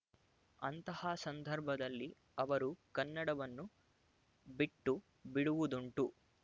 ಅಂತಹ ಸಂದರ್ಭದಲ್ಲಿ ಅವರು ಕನ್ನಡವನ್ನು ಬಿಟ್ಟು ಬಿಡುವುದುಂಟು